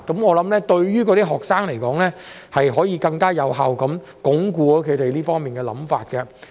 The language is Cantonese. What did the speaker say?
我認為對於學生來說，這樣可以更有效鞏固他們這方面的想法。